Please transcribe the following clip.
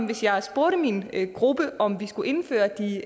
hvis jeg spurgte min gruppe om vi skulle indføre de